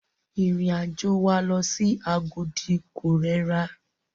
Ìrìn àjò wa lọ sí Agodi ko rẹra.